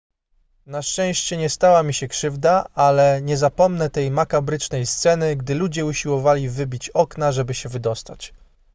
na szczęście nie stała mi się krzywda ale nie zapomnę tej makabrycznej sceny gdy ludzie usiłowali wybić okna żeby się wydostać